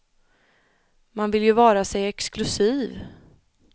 Man vill ju vara sig exklusiv.